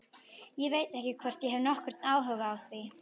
Ég veit ekki hvort ég hef nokkurn áhuga á því.